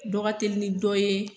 Dɔ ka telin ni dɔ ye.